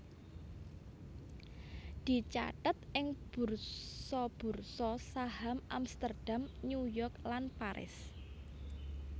dicathet ing bursa bursa saham Amsterdam New York lan Paris